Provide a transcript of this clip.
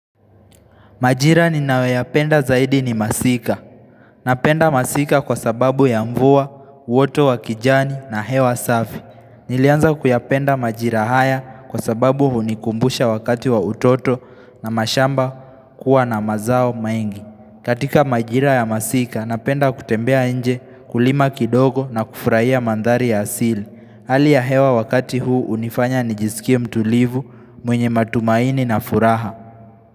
Majira ninayoyapenda zaidi ni masika. Napenda masika kwa sababu ya mvua, uoto wa kijani na hewa safi. Nilianza kuyapenda majira haya kwa sababu hunikumbusha wakati wa utoto na mashamba kuwa na mazao mengi. Katika majira ya masika, napenda kutembea nje kulima kidogo na kufurahia manthari ya asili. Hali ya hewa wakati huu hunifanya nijisikie mtulivu mwenye matumaini na furaha.